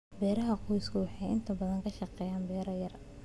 Beeraha qoysku waxay inta badan ka shaqeeyaan beero yaryar.